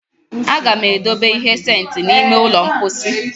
A ga m edobe ihe sentị n'ime ụlọ mposi